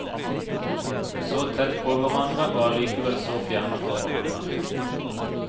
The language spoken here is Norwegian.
Så tett på hverandre og alikevel så fjerne for hverandre.